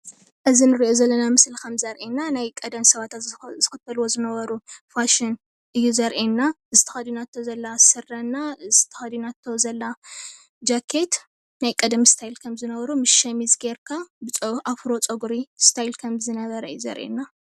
እዚ ንሪኦ ዘለና ምስሊ ከም ዘርእየና ናይ ቀደም ሰባት ዝኽተልዎ ዝነበሩ ፋሽን እዩ ዘርእየና። እዚ ተኸዲናቶ ዘላ ስረ እና እዚ ተኸዲናቶ ዘላ ጃኬት ናይ ቀደም እስታይል ከም ዝነበሩ ምስ ሸሚዝ ጌርካ ብኣፍሮ ፀጉሪ እስታይል ከም ዝነበረ እዩ ዘርእየና።